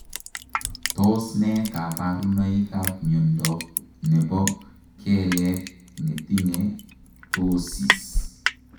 Tos nee kabarunoik ap miondop nepoo keleek netinyee ptoosiis